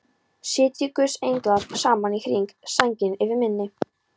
Sitji guðs englar saman í hring, sænginni yfir minni.